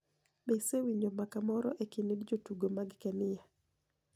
Be isewinijo mbaka moro e kinid jotugo mag Keniya?